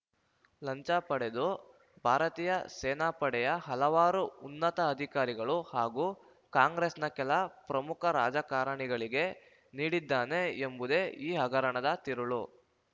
ಲಂಚ ಪಡೆದು ಭಾರತೀಯ ಸೇನಾಪಡೆಯ ಹಲವಾರು ಉನ್ನತ ಅಧಿಕಾರಿಗಳು ಹಾಗೂ ಕಾಂಗ್ರೆಸ್‌ನ ಕೆಲ ಪ್ರಮುಖ ರಾಜಕಾರಣಿಗಳಿಗೆ ನೀಡಿದ್ದಾನೆ ಎಂಬುದೇ ಈ ಹಗರಣದ ತಿರುಳು